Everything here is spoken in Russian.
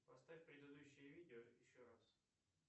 поставь предыдущее видео еще раз